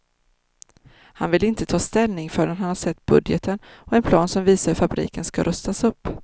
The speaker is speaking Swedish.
Han vill inte ta ställning förrän han sett budgeten och en plan som visar hur fabriken ska rustas upp.